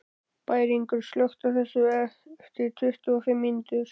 Bæringur, slökktu á þessu eftir tuttugu og fimm mínútur.